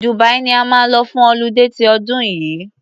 Dubia ni a máa lọ fún ọludé ti ọdún yìí.